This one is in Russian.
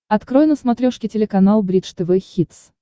открой на смотрешке телеканал бридж тв хитс